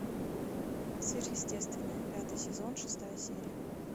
сверхъестественное пятый сезон шестая серия